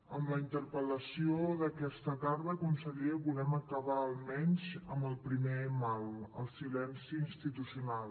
amb la interpel·lació d’aquesta tarda conseller volem acabar almenys amb el primer mal el silenci institucional